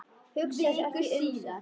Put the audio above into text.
Hugsaði sig ekki um!